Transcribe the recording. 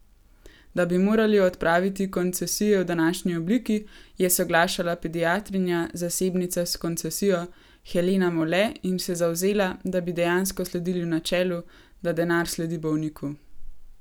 Da bi morali odpraviti koncesije v današnji obliki, je soglašala pediatrinja, zasebnica s koncesijo, Helena Mole in se zavzela, da bi dejansko sledili načelu, da denar sledi bolniku.